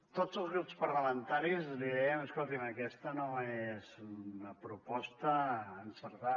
tots els grups parlamentaris li deien escolti’m aquesta no és una proposta encertada